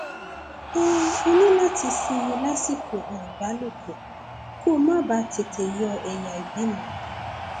um o ní láti um sinmi lásìkò um ìbálòpọ kó o má bàa tètè yọ ẹyà ìbímọ